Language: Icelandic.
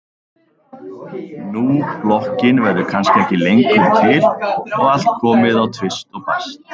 Nú blokkin verður kannski ekki lengur til og allt komið á tvist og bast.